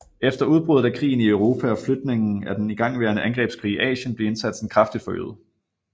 Efter udbruddet af krigen i Europa og flytningen af den igangværende angrebskrig i Asien blev indsatsen kraftig forøget